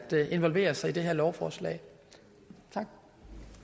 involvere sig i det her lovforslag